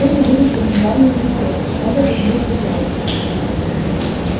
ты же будешь у них главной звездой шведа затмишь играючи